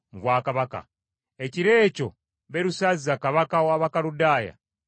Ekiro ekyo Berusazza kabaka w’Abakaludaaya n’attibwa.